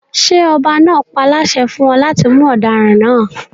Ṣé ọba náà páláṣẹ fún ọ láti mú ọdaràn náà?